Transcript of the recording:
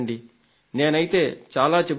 నేనైతే చాలా చెబుతున్నాను